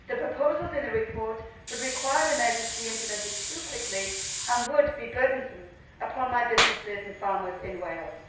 The proposals in the report would require the measures to be implemented too quickly and would be burdensome upon my businesses and farmers in Wales.